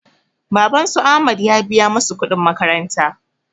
Baban su ahmad ya biya masu kuɗin makaranta